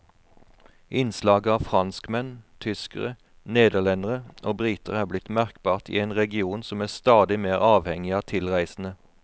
Innslaget av franskmenn, tyskere, nederlendere og briter er blitt merkbart i en region som er stadig mer avhengig av tilreisende.